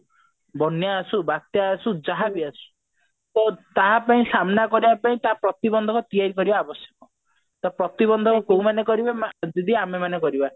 ବନ୍ୟା ଆସୁ ବାତ୍ୟା ଆସୁ ଯାହା ବି ଆସୁ ତ ତା ପାଇଁ ସାମ୍ନା କରିବା ପାଇଁ ତା ପ୍ରତିବନ୍ଧକ ତିଆରି କରିବା ଆବଶ୍ୟକ ତ ପ୍ରତିବନ୍ଧକ କୋଉ ମାନେ ଅକରିବେ ନା ଦିଦି ଆମେମାନେ କରିବା